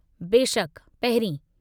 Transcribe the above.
बेशकि, पहिरीं।